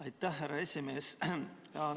Aitäh, härra esimees!